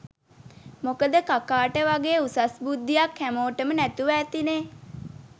මොකද කකාට වගේ උසස් බුද්ධ්යක් හැමෝටම නැතුව ඇතිනෙ